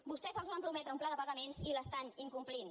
vostès els van prometre un pla de pagaments i l’estan incomplint